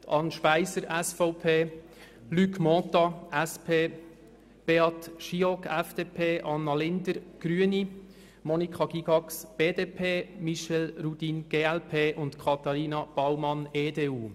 es handelt sich um Anne Speiser, SVP, Luc Mentha, SP, Beat Giauque, FDP, Anna Linder, Grüne, Monika Gygax, BDP, Michel Rudin, glp, und Katharina Baumann, EDU.